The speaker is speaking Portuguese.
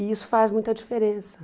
E isso faz muita diferença.